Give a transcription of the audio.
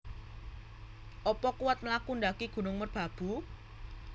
Opo kuwat mlaku ndaki Gunung Merbabu